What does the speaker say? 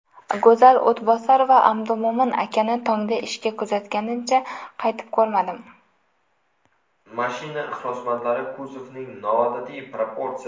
Go‘zal O‘tbosarova: Abdumo‘min akani tongda ishga kuzatganimcha, qaytib ko‘rmadim.